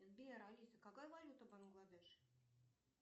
сбер алиса какая валюта в бангладеш